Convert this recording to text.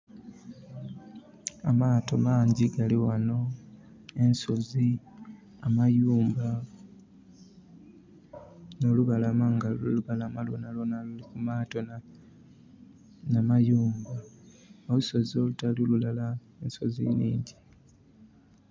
Amaato mangyi gali ghano, ensozi, amayumba. Olubalama lwonha lwonha luliku maato nha mayumba. Olusozi olutali lulala, ensozi nhingyi.